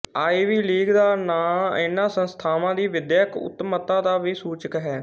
Ivy League ਦਾ ਨਾਂਅ ਇਨ੍ਹਾਂ ਸੰਸਥਾਵਾਂ ਦੀ ਵਿਦਿਅਕ ਉੱਤਮਤਾ ਦਾ ਵੀ ਸੂਚਕ ਹੈ